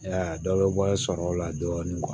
I y'a ye a dɔ bɛ bɔ sɔrɔ o la dɔɔnin